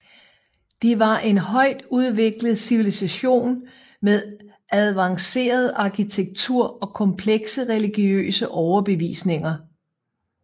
De var en højtudviklet civilisation med advanceret arkitektur og komplekse religiøse overbevisninger